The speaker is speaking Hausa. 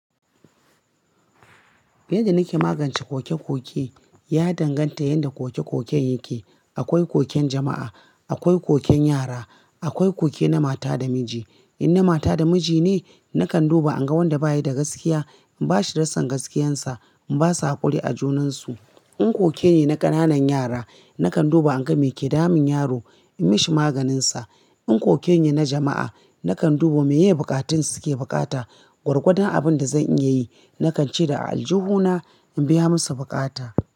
Yadda nake magance koke-koke, ya danganta yanda koke-koken yake. Akwai koken jama'a, akwai koken yara, akwai koke na mata da miji. In na mata da miji ne, nakan duba in ga wanda baya da gaskiya, in bashi rasan gaskiyan sa, in ba su hakuri a junan su. In koke ne na ƙananan yara, nakan duba in ga me ke damun yaro, in mishi maganin sa. In koken ne na jama'a, nakan duba me ya yi buƙatan su suke buƙata. Gwargwadon abun da zan iya yi, nakan cire a aljihu na in biya musu buƙata.